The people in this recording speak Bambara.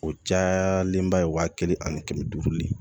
O cayalenba ye wa kelen ani kɛmɛ duuru de